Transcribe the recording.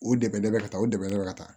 O dɛmɛ dɔ bɛ ka taa o dɛmɛ bɛ ka taa